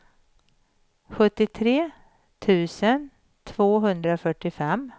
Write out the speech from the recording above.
sjuttiotre tusen tvåhundrafyrtiofem